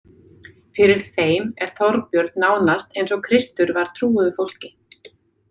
Fyrir þeim er Þorbjörn nánast eins og Kristur var trúuðu fólki.